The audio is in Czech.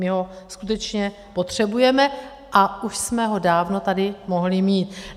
My ho skutečně potřebujeme a už jsme ho dávno tady mohli mít.